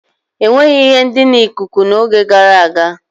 Enweghi ihe ndina ikuku n'oge gara aga.